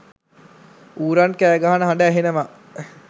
ඌරන් කෑගහන හඬ ඇහෙනවා.